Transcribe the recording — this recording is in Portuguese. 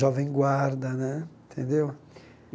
jovem guarda né, tendeu?